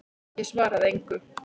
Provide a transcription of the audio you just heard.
Ég svaraði engu.